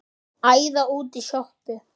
Æða út í sjoppu!